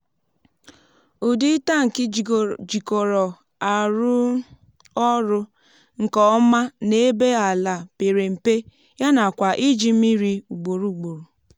udi um tanki jikọrọ arú ọrụ nkè ọma nà ébé àlà pèrè mpē yánàkwà iji mmírí ugbòrò ugbòrò